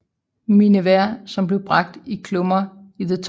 Miniver som blev bragt i klummer i The Times